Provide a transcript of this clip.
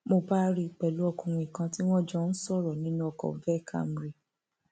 mo bá rí i pẹlú ọkùnrin kan tí wọn jọ ń sọrọ nínú ọkọ veh camry